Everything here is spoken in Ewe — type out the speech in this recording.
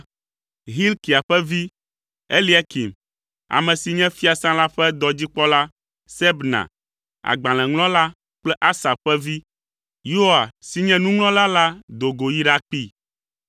Hilkia ƒe vi, Eliakim, ame si nye fiasã la ƒe dɔdzikpɔla, Sebna, agbalẽŋlɔla kple Asaf ƒe vi, Yoa, si nye nuŋlɔla la do go yi ɖakpee.